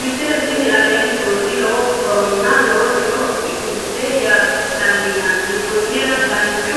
misile tini aleenni nooti lowo horonna lowo tiro afidhinote yaa dandiinanni konnira danchu